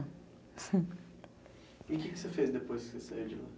E o que você fez depois que você saiu de lá?